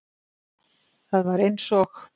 Það var eins og